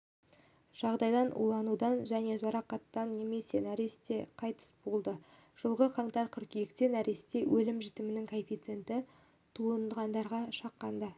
жағдайдан уланудан және жарақаттан немесе нәресте қайтыс болды жылғы қаңтар-қыркүйекте нәресте өлім-жітімінің коэффициеті туғандарға шаққанда